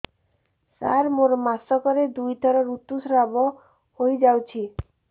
ସାର ମୋର ମାସକରେ ଦୁଇଥର ଋତୁସ୍ରାବ ହୋଇଯାଉଛି